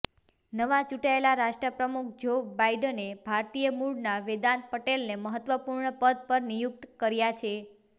નવા ચૂંટાયેલા રાષ્ટ્રપ્રમુખ જો બાઇડને ભારતીય મૂળના વેદાંત પટેલને મહત્વપૂર્ણ પદ પર નિયુક્ત કર્યા છે